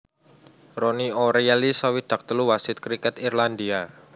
Ronnie O Reilly swidak telu wasit kriket Irlandia